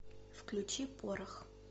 включи порох